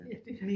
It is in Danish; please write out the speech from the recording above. Ja det